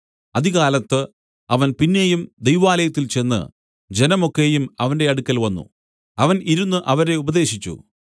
അതികാലത്ത് അവൻ പിന്നെയും ദൈവാലയത്തിൽ ചെന്ന് ജനം ഒക്കെയും അവന്റെ അടുക്കൽ വന്നു അവൻ ഇരുന്നു അവരെ ഉപദേശിച്ചു